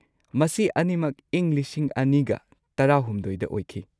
ꯃꯁꯤ ꯑꯅꯤꯃꯛ ꯏꯪ ꯲꯰꯱꯳ꯗ ꯑꯣꯏꯈꯤ꯫